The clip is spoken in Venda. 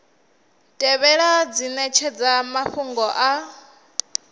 tevhelaho dzi netshedza mafhungo a